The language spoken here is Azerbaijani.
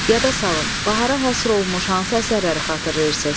Yada salın, bahara həsr olunmuş hansı əsərləri xatırlayırsınız?